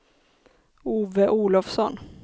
Ove Olovsson